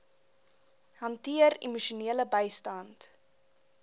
hanteer emosionele bystand